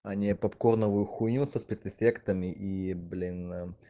они папконовую хуйню со спецэффектами и блин